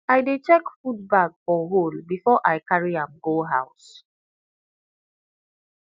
i dey check food bag for hole before i carry am go house